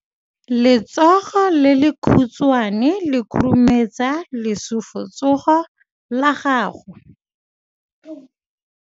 Letsogo le lekhutshwane le khurumetsa lesufutsogo la gago.